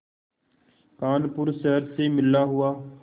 कानपुर शहर से मिला हुआ